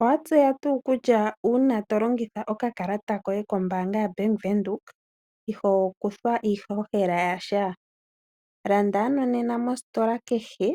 Owa tseya tuu kutya uuna tolongitha okakalata koye kombaanga yaWindhoek iho kuthwa iihohela yasha. Landa ano nena mositola kehe